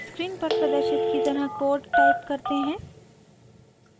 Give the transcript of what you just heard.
screen पर प्रदर्शित की तरह कोड टाइप करते हैं